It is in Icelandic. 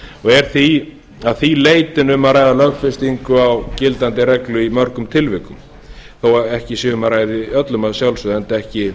er því að því leytinu um að ræða lögfestingu á gildandi reglu í mörgum tilvikum þó ekki sé um að ræða í öllum að sjálfsögðu enda ekki